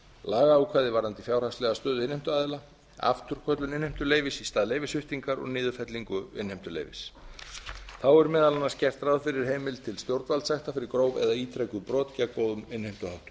lagaákvæði varðandi fjárhagslega stöðu innheimtuaðila afturköllun innheimtuleyfis í stað leyfissviptingar og niðurfellingu innheimtuleyfis þá er meðal annars gert ráð fyrir heimild til stjórnvaldssekta fyrir gróf eða ítrekuð brot gegn góðum innheimtuháttum að